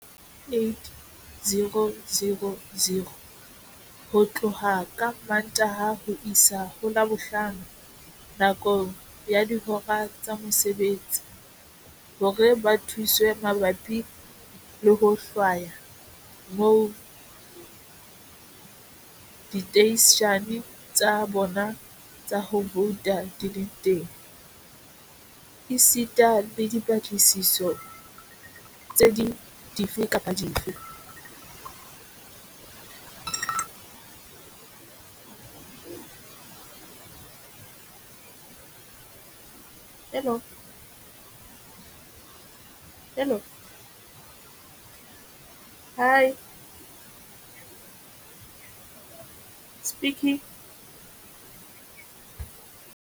Bakgethi ba ka boela ba letsetsa Setsi sa Mehala, 0800 11 8000, ho tloha ka Mantaha ho isa ho Labohlano nakong ya dihora tsa mosebetsi, hore ba thuswe mabapi le ho hlwaya moo diteishene tsa bona tsa ho vouta di leng teng, esita le dipatlisiso tse ding dife kapa dife.